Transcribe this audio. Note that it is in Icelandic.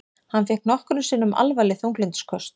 Hann fékk nokkrum sinnum alvarleg þunglyndisköst.